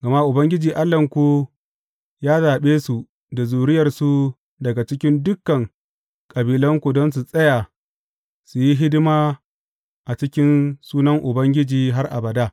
Gama Ubangiji Allahnku ya zaɓe su da zuriyarsu daga cikin dukan kabilanku don su tsaya su yi hidima a cikin sunan Ubangiji har abada.